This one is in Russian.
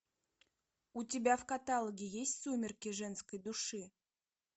у тебя в каталоге есть сумерки женской души